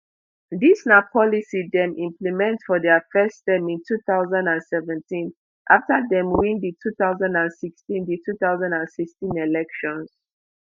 dis na policy dem implement for dia first term in two thousand and seventeen afta dem win di two thousand and sixteen di two thousand and sixteen elections